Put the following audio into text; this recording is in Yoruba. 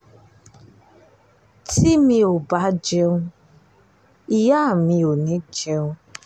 tí mi ò bá jẹun ìyá mi ò ní í jẹun